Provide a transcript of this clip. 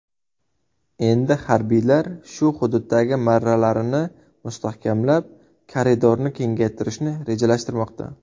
Endi harbiylar shu hududdagi marralarini mustahkamlab, koridorni kengaytirishni rejalashtirmoqda.